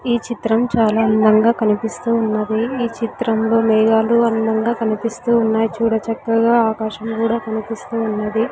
ఈ చిత్రం చాలా అందంగా కనిపిస్తూ ఉన్నది ఈ చిత్రంలో మేఘాలు అందంగా కనిపిస్తూ ఉన్నాయి చూడ చక్కగా ఆకాశం కూడా కనిపిస్తూ ఉన్నది.